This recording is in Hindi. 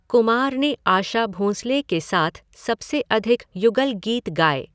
कुमार ने आशा भोंसले के साथ सबसे अधिक युगल गीत गाए।